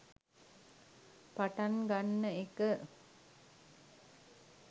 පටන් ගන්න එක.